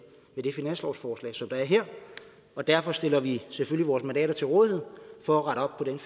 i det finanslovsforslag som er her derfor stiller vi selvfølgelig vores mandater til rådighed for